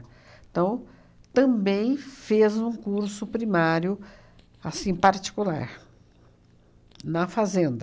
Então, também fez um curso primário assim particular na fazenda.